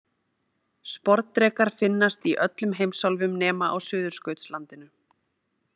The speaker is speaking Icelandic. Sporðdrekar finnast í öllum heimsálfum nema á Suðurskautslandinu.